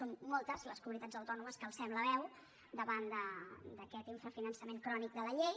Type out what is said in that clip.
són moltes les comunitats autònomes que alcem la veu davant d’aquest infrafinançament crònic de la llei